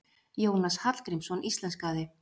Jónas Hallgrímsson íslenskaði.